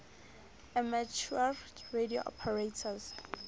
amateur radio operators